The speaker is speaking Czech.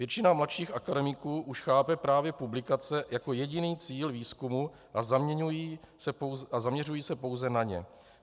Většina mladších akademiků už chápe právě publikace jako jediný cíl výzkumu a zaměřují se pouze na ně.